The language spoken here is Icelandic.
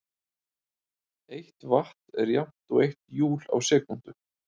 Eitt vatt er jafnt og eitt júl á sekúndu.